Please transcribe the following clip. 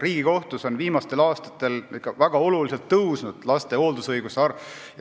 Riigikohtus on viimastel aastatel väga palju kasvanud lapse hooldusõiguse määramiste arv.